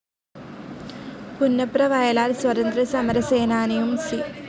പുന്നപ്രവയലാർ സ്വതന്ത്ര്യസമര സേനാനിയും സി.